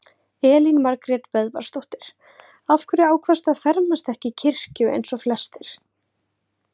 Elín Margrét Böðvarsdóttir: Af hverju ákvaðstu á fermast ekki í kirkju eins og flestir?